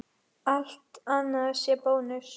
Allt annað sé bónus?